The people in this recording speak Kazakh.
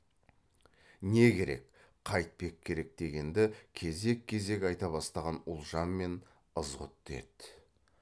не керек қайтпек керек дегенді кезек кезек айта бастаған ұлжан мен ызғұтты еді